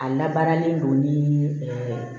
A labaaralen don ni